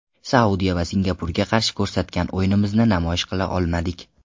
Saudiya va Singapurga qarshi ko‘rsatgan o‘yinimizni namoyish qila olmadik.